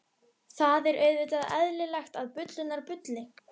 Það er auðvitað eðlilegt að bullurnar bulli.